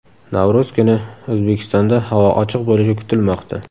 Navro‘z kuni O‘zbekistonda havo ochiq bo‘lishi kutilmoqda.